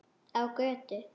Á götu.